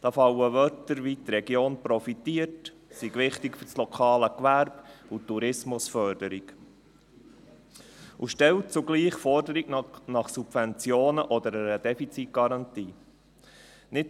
Dabei fallen Wörter wie: die Region profitiert, es sei wichtig für das lokale Gewerbe und die Tourismusförderung – und zugleich wird eine Forderung nach Subventionen oder einer Defizitgarantie gestellt.